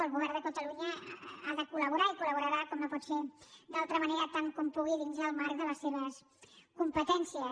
el govern de catalunya ha de col·no pot ser d’altra manera tant com pugui dins el marc de les seves competències